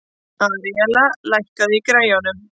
Aríella, lækkaðu í græjunum.